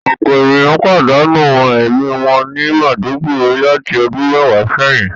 Ọpọ eniyan padanu ẹmi wọn ni Maiduguri lati ọdun mẹwa sẹyin